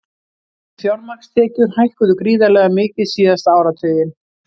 Fjármagnstekjur hækkuðu gríðarlega mikið síðasta áratuginn